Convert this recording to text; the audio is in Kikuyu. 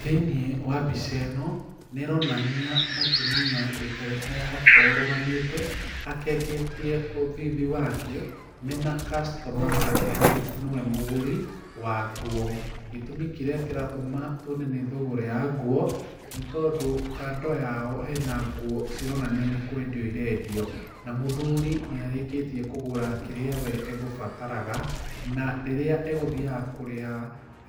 Thĩiniĩ wa mbica ĩno, nĩ ĩronania mũtumia ũikarite arũgamĩte, akengetie thithi wake, mena customer wake nĩwe mũgũri wa nguo. Gĩtũmi kĩrĩa kĩratũma tuone thũgũrĩ ya nguo, nĩ tondũ kando yao hena nguo cironania nĩ kwendio irendio, na mũthuri nĩagũra kĩrĩa we egũbataraga, na rĩrĩa egũthiaga agũra na